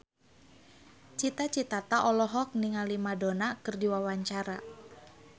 Cita Citata olohok ningali Madonna keur diwawancara